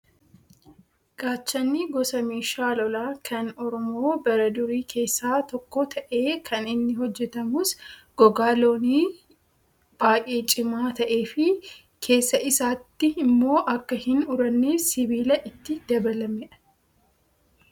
Gaachanni gosa meeshaa lolaa kan oromoo bara durii keessaa tokko ta'ee kan inni hojjatamus gogaa loonii baay'ee cimaa ta'ee fi keessa isaatti immoo akka hin uranneef sibiila itti dabalame qaba.